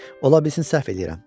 Ola bilsin səhv eləyirəm.